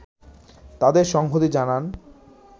তাদের সংহতি জানান